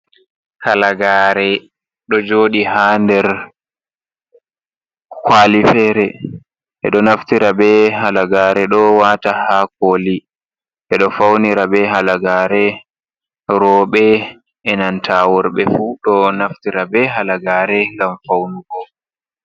Halagare ɗo joɗi ha nder kwali fere, ɓeɗo naftira be halagare ɗo wata ha koli ɓeɗo faunira be halagare roɓɓe e nanta worɓe fu ɗo naftira be halagare gam faunugo.